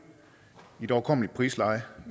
i et overkommeligt prisleje